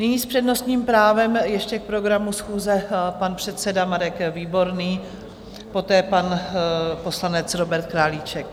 Nyní s přednostním právem ještě k programu schůze pan předseda Marek Výborný, poté pan poslanec Robert Králíček.